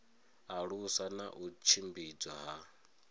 alusa na u tshimbidzwa ha